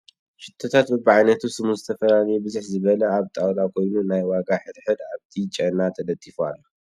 ሽቶታት በቢ ዓይነቱ ስሙን ዝተፈላለየ ብዝሕ ዝበለ ኣብ ጣውላ ኮይኑ ናይ ዋጋ ሕድ ሕድ ኣብ ቲ ጨና ተለጢፉ ኣሎ ።